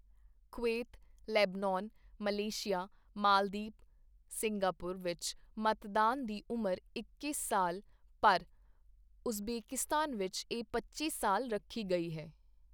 Kuwait Lebanon Malaysia Maldives Singapore ਵਿੱਚ ਮਤਦਾਨ ਦੀ ਉਮਰ ਇੱਕੀ ਸਾਲ ਪਰ ਉਜ਼ਬੇਕਿਸਤਾਨ ਵਿੱਚ ਇਹ ਪੱਚੀ ਸਾਲ ਰੱਖੀ ਗਈ ਹੈ।